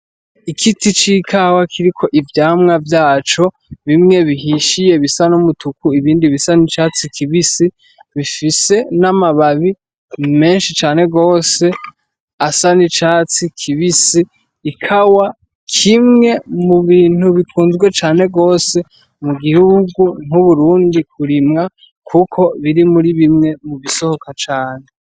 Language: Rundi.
Igiti c'ikawa kiriko ivyamwa vyaco, bimwe bihishiye bisa n'umutuku, ibindi bisa n'icatsi kibisi, bifise n'amababi menshi cane gose asa n'icatsi kibisi, ikawa kimwe mu bintu bikunzwe cane gose mu gihugu nk'Uburundi kurimwa kuko biri muri bimwe mubisohoka cane.